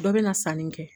Dɔ bɛ na sanni kɛ